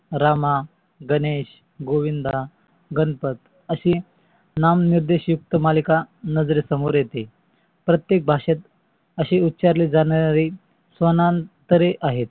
राम, गणेश, गोविंद, गणपत अशी नाम निर्देश युक्त मालिका नजरे समोर येते. प्रतेक भाषेत असे उच्चारले जाणारे स्व्नांतरे आहेत.